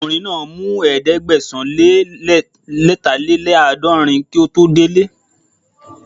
Ọkùnrin náà mú Ẹ̀ẹ́dẹ̀gbẹ̀sán-lé-lẹ́tàléláàdọ̀rin kí ó tó dele